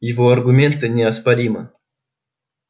его аргументы неоспоримы